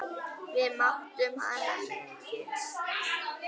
Við mátum hana mikils.